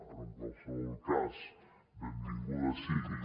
però en qualsevol cas benvinguda sigui